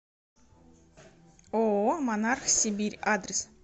ооо монарх сибирь адрес